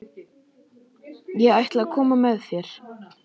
Ég ætla að koma með þér!